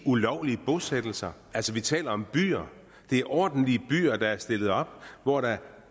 ulovlige bosættelser altså vi taler om byer det er ordentlige byer der er stillet op og hvor der